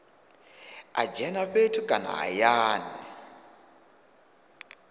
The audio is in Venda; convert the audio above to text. a dzhene fhethu kana hayani